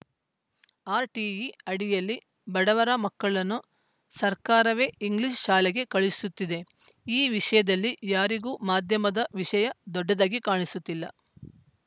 RTE ಅಡಿಯಲ್ಲಿ ಬಡವರ ಮಕ್ಕಳನ್ನು ಸರ್ಕಾರವೇ ಇಂಗ್ಲಿಷ್‌ ಶಾಲೆಗೆ ಕಳುಹಿಸುತ್ತಿದೆ ಈ ವಿಷಯದಲ್ಲಿ ಯಾರಿಗೂ ಮಾಧ್ಯಮದ ವಿಷಯ ದೊಡ್ಡದಾಗಿ ಕಾಣಿಸುತ್ತಿಲ್ಲ